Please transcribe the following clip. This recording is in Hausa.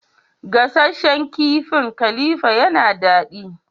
Gasasshen kifin khalifa yana dadi.